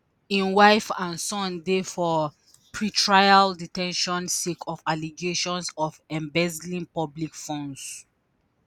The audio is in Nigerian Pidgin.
im wife and son dey for pre-trial de ten tion sake of allegations of embezzling public funds.